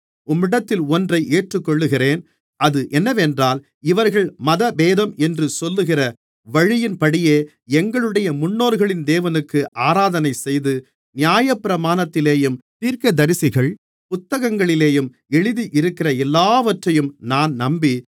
உம்மிடத்தில் ஒன்றை ஏற்றுக்கொள்ளுகிறேன் அது என்னவென்றால் இவர்கள் மதபேதம் என்று சொல்லுகிற வழியின்படியே எங்களுடைய முன்னோர்களின் தேவனுக்கு ஆராதனைசெய்து நியாயப்பிரமாணத்திலேயும் தீர்க்கதரிசிகள் புத்தகங்களிலேயும் எழுதியிருக்கிற எல்லாவற்றையும் நான் நம்பி